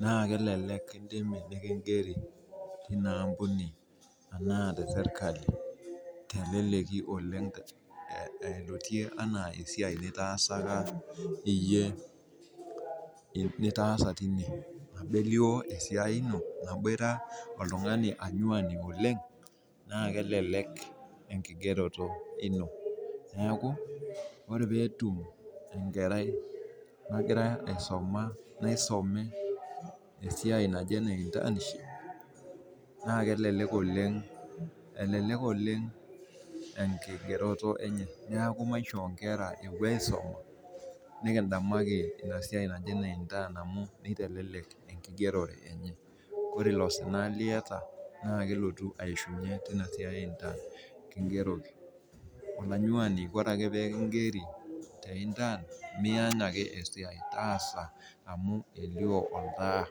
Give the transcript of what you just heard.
naa kelelek kingeri tinaampuni enaa tesirkali teleleki oleng elotie enaa esiai nitaasa tine ,emu elio esiai oltungani anyuani oleng naa kelelek enkigereto ilo neeku ore pee etum enkarai naje naisume intaniship, naa kelelek oleng enkigereto enye neeku maishoo nkera epuo aisuma nikidamaki ina siai eintaniship amu kitelelek enkigerore enye ,ore ilo sina liata naakeletu aishunye Tina siai kingeroki, olanyuani teeku kingeroki te intaan miany ake esiai taasa amu elio oltaa.